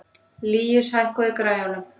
Líus, hækkaðu í græjunum.